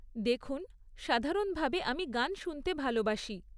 দেখুন, সাধারণভাবে আমি গান শুনতে ভালবাসি।